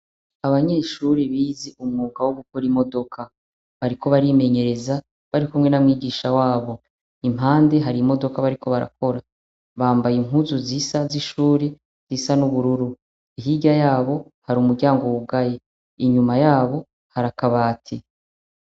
Abanyeshure bize umwuga wo gukora imodoka. Bariko barimenyereza, barikumwe na mwigisha wabo. Impande hari imodoka bariko barakora. Bambaye impuzu zisa z'ishuri, zisa n'ubururu. Hirya yabo, hari umuryango wugaye. Inyuma yabo, hari akabati.